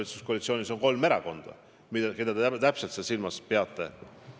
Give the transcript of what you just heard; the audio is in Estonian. Valitsuskoalitsioonis on kolm erakonda, keda te täpselt silmas peate?